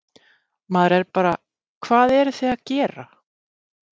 Maður er bara, hvað eruð þið að gera?